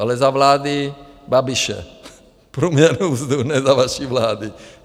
Ale za vlády Babiše průměrnou mzdu, ne za vaší vlády.